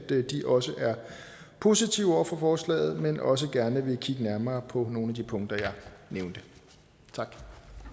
de også er positive over for forslaget men også gerne vil kigge nærmere på nogle af de punkter jeg har nævnt